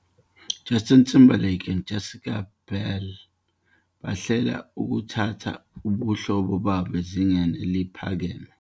"Justin Timberlake and Jessica Biel bahlela ukuthatha ubuhlobo babo ezingeni eliphakeme."